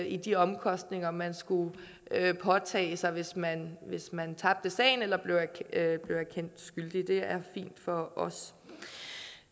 i de omkostninger man skulle påtage sig hvis man hvis man tabte sagen eller blev kendt skyldig det er fint for os